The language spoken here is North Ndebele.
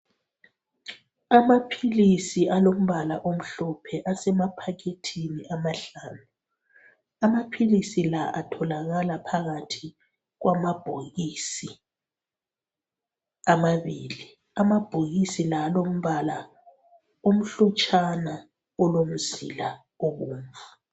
Amaphilisi alombala omhlophe asemaphakethini amahlanu amaphilisi la atholakala phakathi kwamabhokisi amabili amabhokisi la alombala omhlotshana kulomzila obomvu